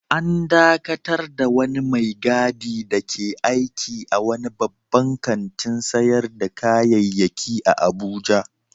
An dakatar da wani mai gadi dake aiki a wani babban kantin sayar da kayayyaki a Abuja